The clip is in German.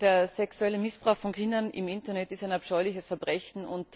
Der sexuelle Missbrauch von Kindern im Internet ist ein abscheuliches Verbrechen.